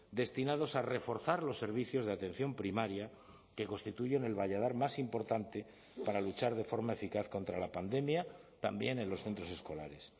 destinados a reforzar los servicios de atención primaria que constituyen el valladar más importante para luchar de forma eficaz contra la pandemia también en los centros escolares